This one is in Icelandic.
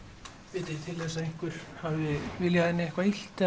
vitið þið til þess að einhver hafi viljað henni eitthvað illt